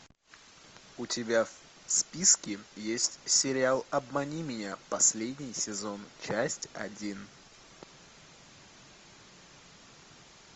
у тебя в списке есть сериал обмани меня последний сезон часть один